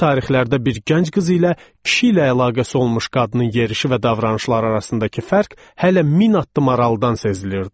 O tarixlərdə bir gənc qız ilə kişi ilə əlaqəsi olmuş qadının yerişi və davranışları arasındakı fərq hələ min addım aralıdan sezilirdi.